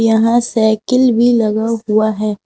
यहां साइकिल भी लगा हुआ है।